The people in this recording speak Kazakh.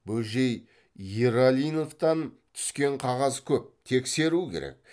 бөжей ералиновтан түскен қағаз көп тексеру керек